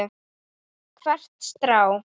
Hvert strá.